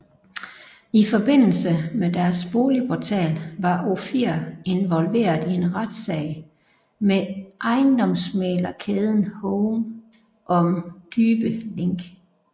I forbindelse med deres bolig portal var Ofir involveret i en retssag med ejendomsmæglerkæden home om dybe link